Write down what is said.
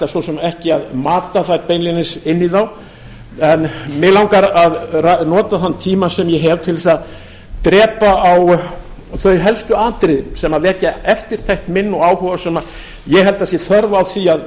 svo sem ekki að mata þær beinlínis inn í þá en mig langar að nota þann tíma sem ég hef til þess að drepa á þau helstu atriði sem vekja eftirtekt mína og þann áhuga sem ég held að sé þörf á því að